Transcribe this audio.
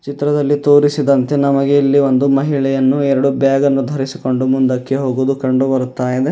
ಚಿತ್ರದಲ್ಲಿ ತೋರಿಸಿದಂತೆ ನಮಗೆ ಇಲ್ಲಿ ಒಂದು ಮಹಿಳೆಯನ್ನು ಎರಡು ಬ್ಯಾಗ್ ಅನ್ನು ಧರಿಸಿಕೊಂಡು ಮುಂದಕ್ಕೆ ಹೋಗುವುದು ಕಂಡು ಬರುತ್ತಾ ಇದೆ.